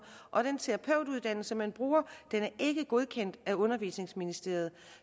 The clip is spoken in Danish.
og den terapeutuddannelse man bruger er ikke godkendt af undervisningsministeriet